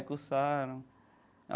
Cursaram.